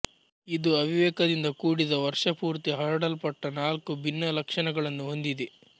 ಇದು ಅವಿವೇಕದಿಂದ ಕೂಡಿದ ವರ್ಷಪೂರ್ತಿ ಹರಡಲ್ಪಟ್ಟ ನಾಲ್ಕು ಭಿನ್ನ ಲಕ್ಷಣಗಳನ್ನು ಹೊಂದಿದೆ